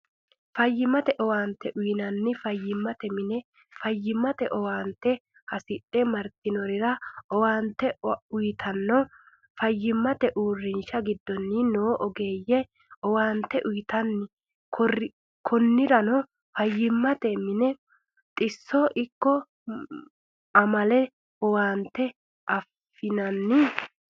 Fayimatte oeante uyinnanni fayimate mine, fayimatte owaante hasidhe maritinorira owaante uyitanno fayimate uurinshi gidooni noo oggeeye owaante uyitanno koniranno fayimatte mine xisote ikko amalete owaante afinanni